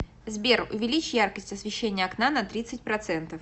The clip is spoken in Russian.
сбер увеличь яркость освещения окна на тридцать процентов